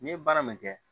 N'i ye baara min kɛ